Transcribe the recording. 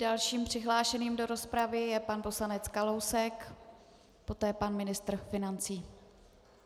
Dalším přihlášeným do rozpravy je pan poslanec Kalousek, poté pan ministr financí.